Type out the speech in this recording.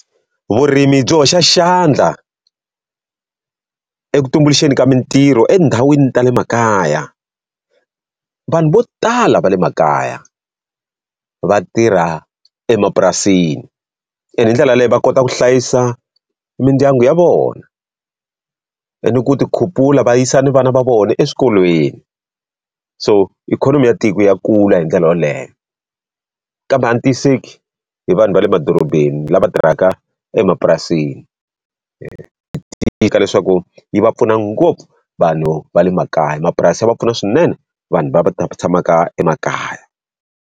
Vurimi byi hoxa xandla eka ku tumbuluxeni ka mitirho etindhawini ta le makaya. Vanhu vo tala va le makaya va tirha emapurasini, ene hi ndlela leyi va kota ku hlayisa mindyangu ya vona. Ni ku ti khupula va yisa na vana va vona eswikolweni. So ikhonomi ya tiko ya kula hi ndlela yoleyo. Kambe a ni tiyisiseki hi vanhu va le madorobeni, laha va tirhaka emapurasini Leswaku yi va pfuna ngopfu vanhu va le makaya mapurasi ya va pfuna swinene vanhu va tshamaka emakaya.